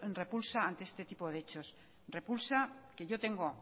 repulsa ante este tipo de hechos repulsa que yo tengo